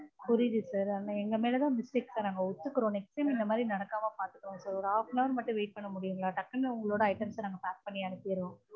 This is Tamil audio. புரியுது sir ஆனா எங்க மேல தான் mistake sir. நாங்க ஒத்துக்குறோம். next time இந்த மாதிரி நடக்காம பார்த்துக்குறோம் sir ஒரு half an hour மட்டும் wait பண்ண முடியுங்களா? டக்குனு உங்களோட items அ நாங்க pack பண்ணி அனுப்பிட்றோம்.